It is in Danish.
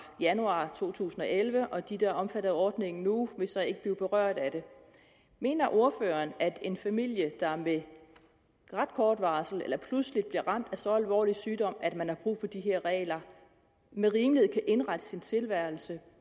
januar to tusind og elleve og de der er omfattet af ordningen nu vil så ikke blive berørt af det mener ordføreren at en familie der med ret kort varsel eller pludseligt bliver ramt af så alvorlig sygdom at man har brug for de her regler med rimelighed kan indrette sin tilværelse